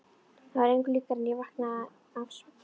Það var engu líkara en ég vaknaði af svefni.